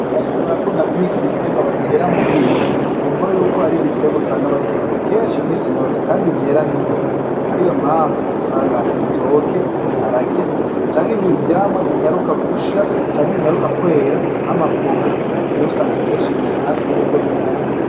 Abarimyi barakunda guhig'ibiterwa batera muhira kumvo yuko har'ibiterwa usanga bakenera kenshi misi yose , kandi vyera n'ingoga ariyo mpamvu usanga ar'ibitoke, ibiharage canke ivyamwa binyaruka gusha , canke binyaruka kwera nk'amavoka mber'usanga kenshi hafi y'urugo bihari.